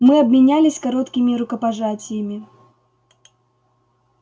мы обменялись короткими рукопожатиями